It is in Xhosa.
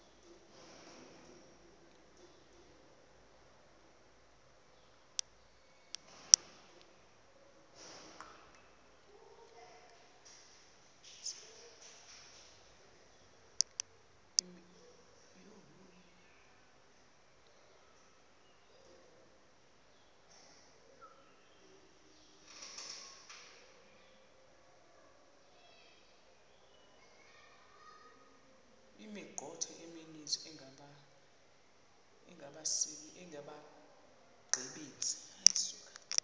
imithqtho emininzi engabaqbenzi